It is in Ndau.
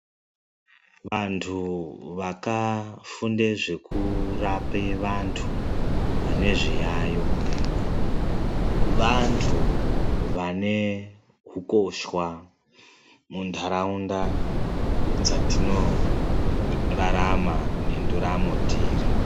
Vantu vakafunda zvekurapa vantu vane zviyayo vantu vane hukoshwa mundaraunda dzatorarama nenduramo tiri .